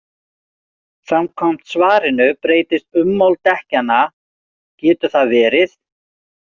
Samkvæmt svarinu breytist ummál dekkjanna, getur það verið?